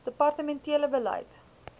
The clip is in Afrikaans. departemen tele beleid